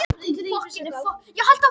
Úlftýr, hvað er í matinn?